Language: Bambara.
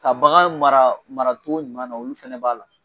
Ka bagan mara maratogo ɲuman na olu fɛnɛ b'a la